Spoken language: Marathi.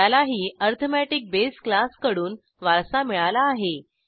त्यालाही अरिथमेटिक बेस क्लासकडून वारसा मिळाला आहे